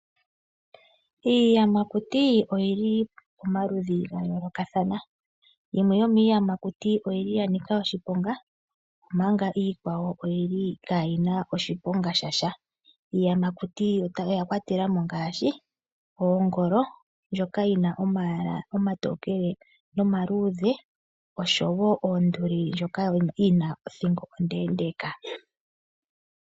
Iiyamakuti oyili pamaludhi gayoolokathana. Yimwe yomiiyamakuti oyili yanika oshiponga omanga iikwawo oyili kayi na oshiponga shasha. Iiyamakuti oya kwatelwa ngaashi oongolo ndjoka yina omayala omatokele nomaluudhe osho woo oonduli ndjono yina othingo ondeendeka.